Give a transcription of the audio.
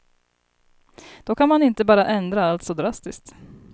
Då kan man inte bara ändra allt så drastiskt.